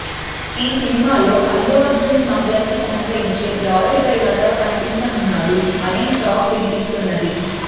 ఈ సినిమాలో అల్లు అర్జున్ స్మగ్లర్ కి సహకరించే లారీ డ్రైవర్ గా కనిపించనున్నాడు అనే టాక్ వినిపిస్తున్నది